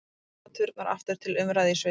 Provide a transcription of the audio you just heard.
Bænaturnar aftur til umræðu í Sviss